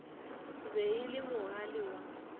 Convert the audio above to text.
be e le mogale wa